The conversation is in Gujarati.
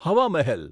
હવા મહેલ